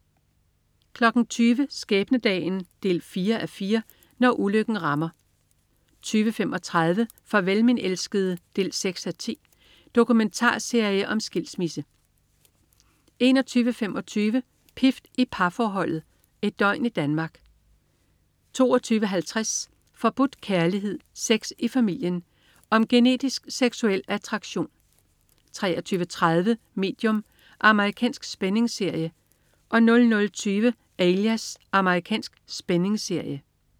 20.00 Skæbnedagen. 4:4 Når ulykken rammer 20.35 Farvel min elskede. 6:10 Dokumentarserie om skilsmisse 21.25 Pift i parforholdet. Et døgn i Danmark 22.50 Forbudt kærlighed, sex i familien. Om genetisk seksuel attraktion 23.30 Medium. Amerikansk spændingsserie 00.20 Alias. Amerikansk spændingsserie